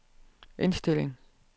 indstilling